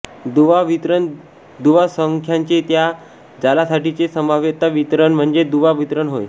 दुवा वितरण दुवासंख्यांचे त्या जालासाठिचे संभाव्यता वितरण म्हणजेच दुवा वितरण होय